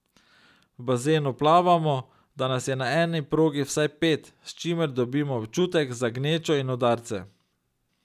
V bazenu plavamo, da nas je na eni progi vsaj pet, s čimer dobimo občutek za gnečo in udarce.